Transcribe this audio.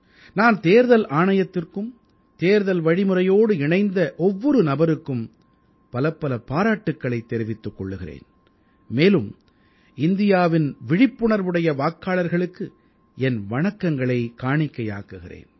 நான் தேர்தல் ஆணையத்திற்கும் தேர்தல் வழிமுறையோடு இணைந்த ஒவ்வொரு நபருக்கும் பலப்பல பாராட்டுக்களைத் தெரிவித்துக் கொள்கிறேன் மேலும் இந்தியாவின் விழிப்புணர்வுடைய வாக்காளர்களுக்கு என் வணக்கங்களைக் காணிக்கையாக்குகிறேன்